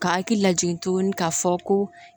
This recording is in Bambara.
Ka hakili lajigin tuguni k'a fɔ ko